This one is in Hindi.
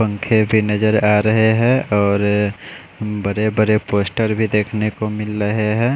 पंखे भी नज़र आरहे है और बड़े बड़े पोस्टर भी देखने को मिल रहे है।